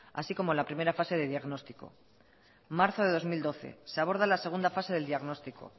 así como la primera fase de diagnóstico marzo de dos mil doce se aborda la segunda fase del diagnóstico